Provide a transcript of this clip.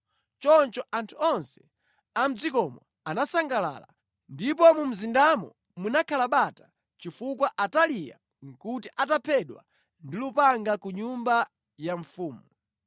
Choncho anthu onse a mʼdzikomo anasangalala. Ndipo mu mzindamo munakhala bata chifukwa Ataliya nʼkuti ataphedwa ndi lupanga ku nyumba ya mfumu.